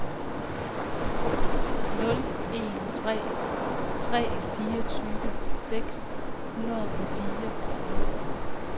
nul en tre tre fireogtyve seks hundrede og fireogtredive